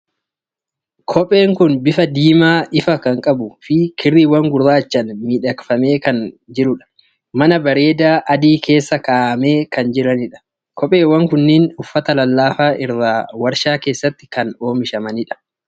Kopheen kun bifa diimaa ifaa kan qabuu fi kirriiwwan gurraachaan miidhagfaman kan qabudha. Mana bareedaa adii keessa kaa'amanii kan jiranidha. Kopheewwan kunneen uffata lallaafaa irraa waarshaa keessatti kan oomishamani dha.